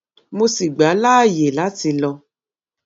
mo sì gbà á láàyè láti lọ